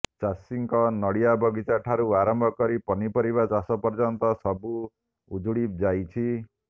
ଚାଷୀଙ୍କ ନଡିଆ ବଗିଚା ଠାରୁ ଆରମ୍ଭକରି ପନିପରିବା ଚାଷ ପର୍ଯ୍ୟନ୍ତ ସବୁ ଉଜୁଡିଯାଇଛି